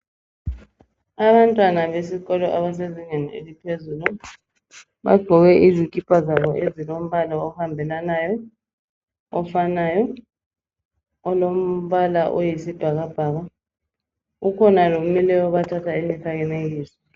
Abantwana besikolo ebasezingeni eliphezulu bagqoke izikipa zabo ezilombala ohambelanayo, ofanayo, olombala oyisibhakabhaka. Kukhona lomileyo obathatha imifanekiso